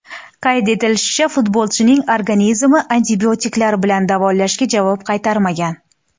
Qayd etilishicha, futbolchining organizmi antibiotiklar bilan davolashga javob qaytarmagan.